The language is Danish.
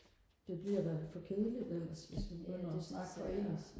det bliver da for kedeligt ellers hvis vi begynder og snakke for ens